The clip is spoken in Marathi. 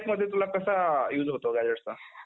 lifeमध्ये तुला कसा use होतो gazetteचा?